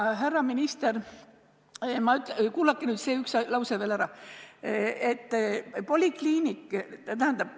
Härra minister, kuulake nüüd see üks lause veel ära!